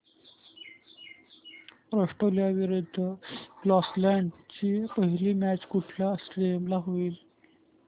Australia विरुद्ध Scotland ची पहिली मॅच कुठल्या स्टेडीयम ला होईल